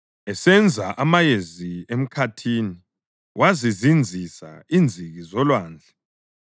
esenza amayezi emkhathini wazizinzisa inziki zolwandle,